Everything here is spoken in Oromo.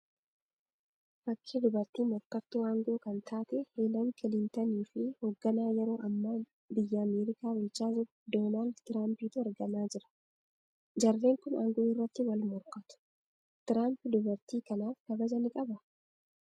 Fakkii dubartii morkattuu aangoo kan taate Helen Kilintanii fi hogganaa yeroo hamma biyyaa Ameerikaa bulchaa jiru Donaald Tiraampiitu argamaa jira. Jarreen kun aangoo irratti wal morkatu. Tiraamp dubartii kanaaf kabaja ni qabaa?